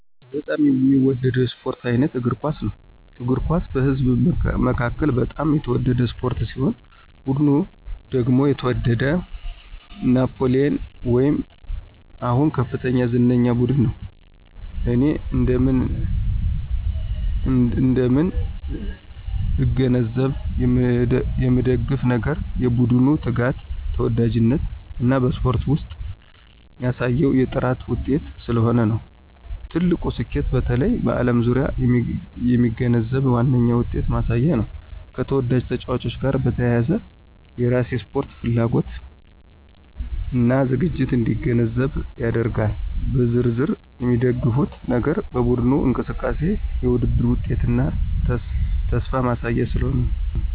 በጣም የሚወደው የስፖርት አይነት እግር ኳስ ነው። እግር ኳስ በህዝብ መካከል በጣም የተወደደ ስፖርት ሲሆን ቡድን ደግሞ የተወደደው ናፕሊየን ወይም አሁን ከፍተኛ ዝነኛ ቡድን ነው። እኔ እንደምን እንደምን እገነዘብ የምንደግፍ ነገር የቡድኑ ትጋት፣ ተወዳጅነት እና በስፖርት ውስጥ ያሳየው የጥራት ውጤት ስለሆነ ነው። የትልቁ ስኬቱ በተለይ በዓለም ዙሪያ የሚገነዘብ ዋነኛ ውጤትን ማሳያ ነው፣ ከተወዳጅ ተጫዋቾች ጋር በተያያዘ የራሴን ስፖርት ፍላጎት እና ዝግጅት እንዲገነዘብ ያደርጋል። በዝርዝር የሚደግፉት ነገር በቡድኑ እንቅስቃሴ፣ የውድድር ውጤትና ተስፋ ማሳያ ስለሆነ ነው።